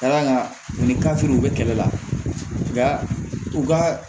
Ka d'a kan u ni kafe ninnu bɛ kɛlɛ la u ka